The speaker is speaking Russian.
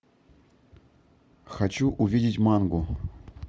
хочу увидеть мангу